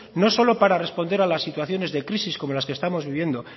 no solo para responder a las situaciones de crisis como las que estamos viviendo